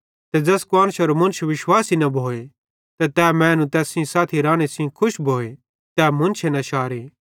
ते ज़ैस कुआन्शरो मुन्श विश्वासी न भोए ते तै मैनू तैस साथी राने सेइं खुश भोए तै मुन्शे न शारे